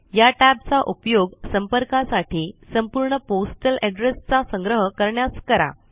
या tab चा उपयोग संपर्कासाठी संपूर्ण पोस्टल एड्रेस चा संग्रह करण्यास करा